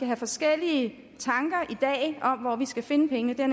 have forskellige tanker om hvor vi skal finde pengene det er